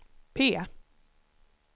P